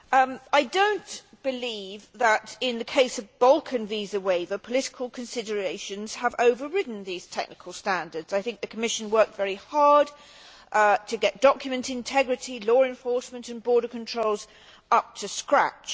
However, I do not believe that, in the case of the Balkan visa waiver, political considerations have overridden these technical standards. The Commission worked very hard to get document integrity, law enforcement and border controls up to scratch.